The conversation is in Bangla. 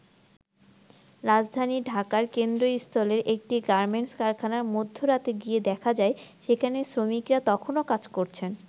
রাজধানী ঢাকার কেন্দ্রস্থলের একটি গার্মেন্টস কারখানায় মধ্যরাতে গিয়ে দেখা যায় সেখানে শ্রমিকেরা তখনও কাজ করছেন।